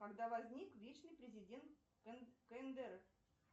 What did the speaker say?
когда возник вечный президент кндр